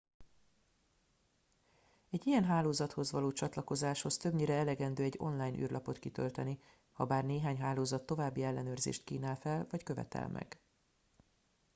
egy ilyen hálózathoz való csatlakozáshoz többnyire elegendő egy online űrlapot kitölteni habár néhány hálózat további ellenőrzést kínál fel vagy követel meg